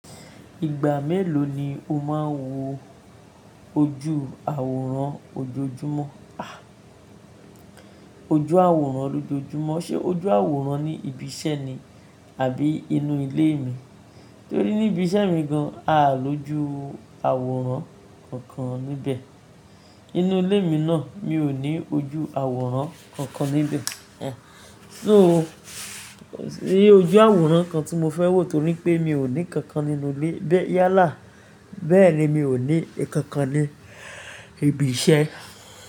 Ìgbà mélòó ni o máa ń wo ojú àwòrán ojoojúmọ́? A! Ojú àwòrán lójoojúmọ́. Ṣé ojú àwòrán ní ibi iṣẹ́ ni àbí inú ilé mi? Torí ní ibi iṣẹ́ mi gan-an, a lójú àwòrán kankan níbẹ̀. Inú ilé mi náà, mi ò ní ojú àwòrán kankan níbẹ̀. Ẹn. So, kòsí ojú àwòrán kan tí mo fẹ́ wò torí pé mi ò ní kankan nínú ilé, bẹ́ẹ̀ yálà, bẹ́ẹ̀ ni mi ò ní kankan ní ibi iṣẹ́.